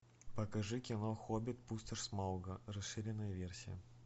покажи кино хоббит пустошь смауга расширенная версия